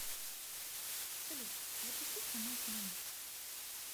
салют запустить канал киномикс